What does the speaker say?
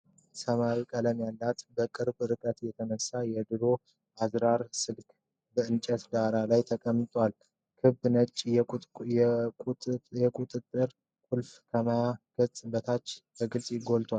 ሰማያዊ ቀለም ያለው፣ በቅርብ ርቀት የተነሳ የድሮ አዝራር ስልክ በእንጨት ዳራ ላይ ተቀምጧል። ክብ ነጭ የቁጥጥር ቁልፎች ከማያ ገጹ በታች በግልጽ ጎልተው አሉ።